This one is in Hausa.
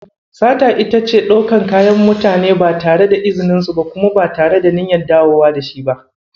Sata ita ce ɗaukan kayan mutane ba tare da izininsu ba kuma ba tare da niyyar dawo da shi ba.